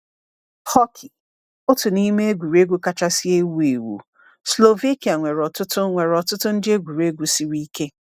Hockey— otu n’ime egwuregwu kachasị ewu ewu. Slovakia nwere ọtụtụ nwere ọtụtụ ndị egwuregwu siri ike.